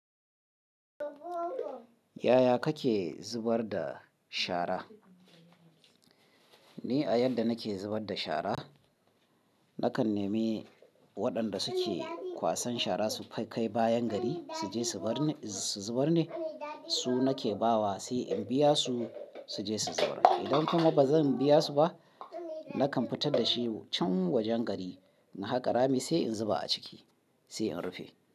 Yaya kake zubar da shara? Ni a yadda nake zubar da shara, nakan nemi waɗanda suke kwasan shara su aika bayan gari su je su zubar ne. Su nake ba wa sai in biya su su je su zuba. Idan kuma ba zan biya su ba, nakan fitar da shi can wajen gari na haƙa rami sai in zuba a ciki sai in rufe.